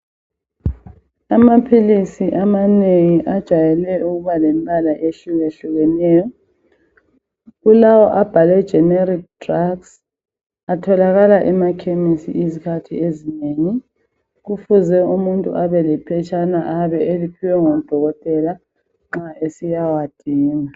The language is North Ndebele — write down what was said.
Amaphilisi amanengi ajayele ukuba lembala ehlukehlukeneyo. Kulawo abhalwe Generic drugs atholakaka emakhemesi izikhathi ezinengi. Kufuze umuntu abe lephetshana ayabe eliphiwe ngudokotela nxa esiya wadinga.